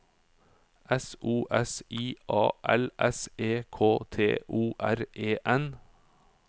S O S I A L S E K T O R E N